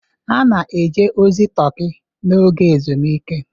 A na-eje ozi Turkey n'oge ezumike.